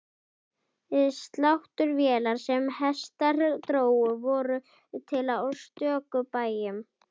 Sláttuvélar sem hestar drógu voru til á stöku bæjum.